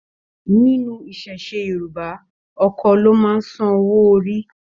Nínú iṣẹṣe Yorùbá, Ọkọ lo máa sàn owó orí.